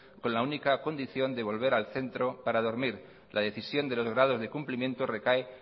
con la única condición de volver al centro para dormir la decisión de los grados de cumplimiento recae